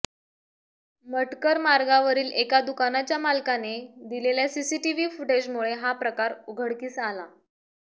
मटकर मार्गावरील एका दुकानाच्या मालकाने दिलेल्या सीसीटीव्ही फुटेजमुळे हा प्रकार उघडकीस आला